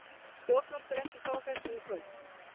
Stjórnvöld greindu frá þessu í kvöld